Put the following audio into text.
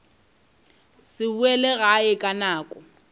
se boele gae ka nako